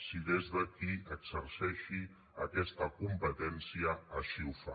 si des de qui exerceixi aquesta competència així ho fa